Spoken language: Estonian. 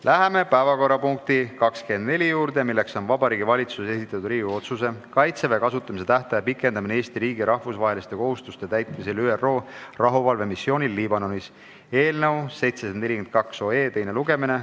Läheme päevakorrapunkti nr 24 juurde, milleks on Vabariigi Valitsuse esitatud Riigikogu otsuse "Kaitseväe kasutamise tähtaja pikendamine Eesti riigi rahvusvaheliste kohustuste täitmisel ÜRO rahuvalvemissioonil Liibanonis" eelnõu teine lugemine.